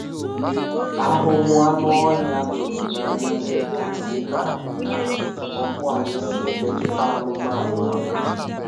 Àhụ́hụ́ anụ́ ọ́hị́à tụ́rụ̀ n'anya mèrè kà anyị́ nà-àhụ́ kà ọ́kụ́ anyị́ sì èmètụ́tà anụ́manụ́ àbàlị́.